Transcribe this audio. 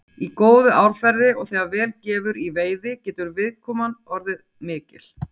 Í góðu árferði og þegar vel gefur í veiði getur viðkoman orðið mikil.